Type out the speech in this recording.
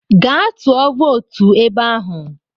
Gaa tụọ vootu ebe ahụ!